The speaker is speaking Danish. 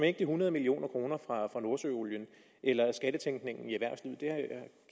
ikke de hundrede million kroner fra nordsøolien eller skattetænkningen